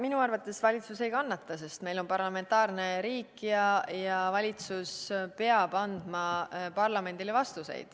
Minu arvates valitsus ei kannata, sest meil on parlamentaarne riik ja valitsus peab andma parlamendile vastuseid.